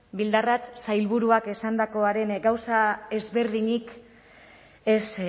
bildarratz sailburuak esandakoaren gauza ezberdinik ez